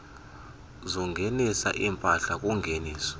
zokungenisa iimpahla kungeniso